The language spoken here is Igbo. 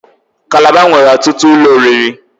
Calabar nwere ọtụtụ ụlọ oriri.